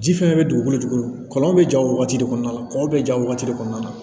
Ji fɛnɛ be dugukolo jukɔrɔ kɔlɔn be ja o wagati de kɔnɔna la kɔkɔ be ja wagati de kɔnɔna na